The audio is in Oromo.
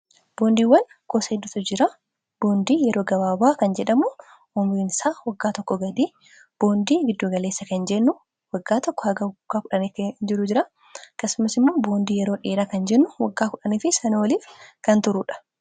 boondiiwwan gosa hedduutu jira. Boondii yeroo gabaabaa kan jedhamu umuriinsaa waggaa tokko gadii, boondii giddu-galeessa kan jennu waggaa tokko hanga hanga waaggaa kudhan kan jiru jiraa akkasumas immoo boondii yeroo dheeraa kan jennu waggaa kudhaniifi sanii oliif kan turuudha.